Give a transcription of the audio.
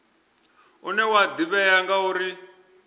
une wa ḓivhea nga u